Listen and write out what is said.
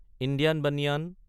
Indian banyan